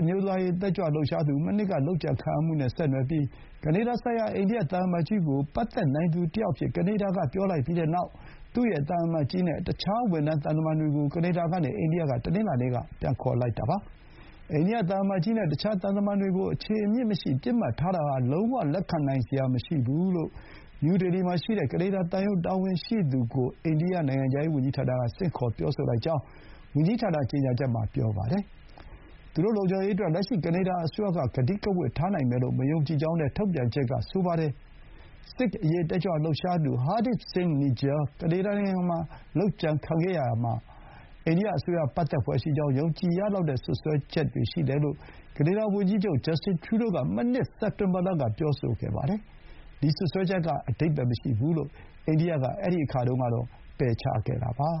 အမျိုးသားရေး တက်ကြွလှုပ်ရှားသူ မနှစ်က လုပ်ကြံခံရမှုနဲ့ဆက်နွယ်ပြီး ကနေဒါဆိုင်ရာ အိန္ဒိယ သံအမတ်ကြီးကိုပတ်သက်နိုင်သူတယောက်အဖြစ် ကနေဒါက ပြောလိုက်ပြီးတဲ့နောက် အိန္ဒိယအစိုးရက သူ့ရဲ့ သံအမတ်ကြီးနဲ့ အခြားဝန်ထမ်းသံတမန်တွေကို ကနေဒါကနေ အိန္ဒိယကို တနင်္လာနေ့က ပြန်ခေါ်လိုက်ပါတယ်။ အိန္ဒိယသံအမတ်ကြီးနဲ့ တခြားသံတမန်တွေကို အခြေအမြစ်မရှိ ပစ်မှတ်ထားတာဟာ လုံးဝ လက်ခံနိုင် စရာမရှိဘူးလို့ နယူးဒေလီမှာရှိတဲ့ ကနေဒါသံရုံး တာဝန်ရှိသူကို အိန္ဒိယနိုင်ငံခြားရေး ဝန်ကြီးဌာနက ဆင့်ခေါ် ပြောဆိုလိုက်ကြောင်းဝန်ကြီးဌာန ကြေညာချက်မှာ ပြောပါတယ်။ သူတို့ လုံခြုံရေးအတွက် လက်ရှိကနေဒါ အစိုးရက ကတိကဝတ်ထားနိုင်မယ်လို့ မယုံကြည်ကြောင်းလည်း ထုတ်ပြန်ချက်က ဆိုပါတယ်။ ဆစ်ခ် အရေး တက်ကြွလှုပ်ရှားသူ Hardeep Singh Nijjar ကနေဒါနိုင်ငံမှာ လုပ်ကြံခံခဲ့ရာမှာ အိန္ဒိယ အစိုးရ ပတ်သက်ဖွယ်ရှိကြောင်း ယုံကြည်ရလောက်တဲ့ စွပ်စွဲချက်တွေ ရှိတယ်လို့ ကနေဒါ ဝန်ကြီးချုပ် Justin Trudeau က မနှစ် စက်တင်ဘာလကပြောဆိုခဲ့ပါတယ်။ ဒီ စွပ်စွဲချက်က အဓိပ္ပါယ်မရှိဘူးလို့ အိန္ဒိယက အဲဒီအခါတုန်းက ပယ်ချခဲ့တာပါ